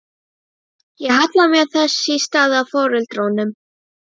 Ég hallaði mér þess í stað að foreldrunum.